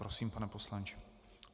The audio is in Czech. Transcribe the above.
Prosím, pane poslanče.